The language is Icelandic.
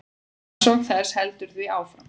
Rannsókn þess heldur því áfram.